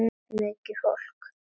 Mikið fólk.